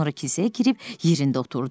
Sonra kisəyə girib yerində oturdu.